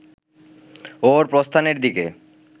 ওর প্রস্থানের দিকে